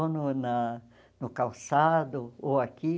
Ou no na no calçado, ou aqui.